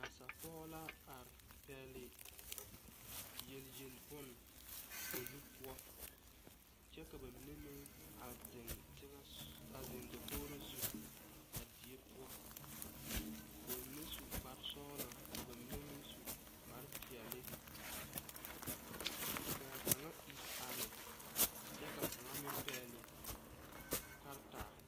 Nasa pɔge la are pɛgle yelyel bon o nu kyɛ ka na mine meŋ a ziŋ teŋɛ a ziŋ dakogro zu a die poɔ ka ba mine su kpare sɔglɔ ka ba mine meŋ su kpare peɛle kaa kaŋa ire are kyɛ ka kaŋa meŋ pɛgle karataa.